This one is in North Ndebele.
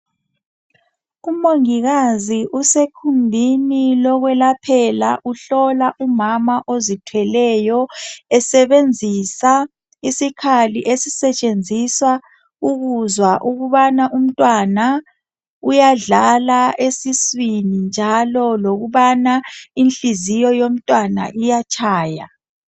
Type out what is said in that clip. Umongikazi usegumbini lokwelaphela uhlola umama ozithweleyo esebenzisa isikhali esisetshenziswa ukuzwa ukubana umntwana uyadlala esiswini njalo lokubana inhliziyo yomntwana iyatshaya